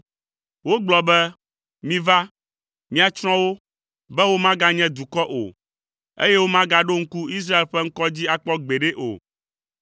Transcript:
Wogblɔ be, “Miva, míatsrɔ̃ wo, be womaganye dukɔ o, eye womagaɖo ŋku Israel ƒe ŋkɔ dzi akpɔ gbeɖe o.”